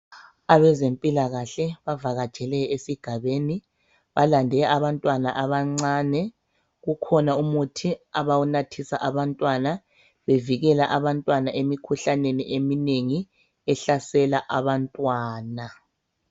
Abezempilakahle bavakatshele esigabeni balande abantwana abancane kukhona umuthi abawunathisa abantwana bevikela abantwana emikhuhlaneni eminengi ehlasela abantwana.